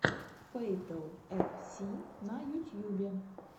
фэйтл эф си на ютьюбе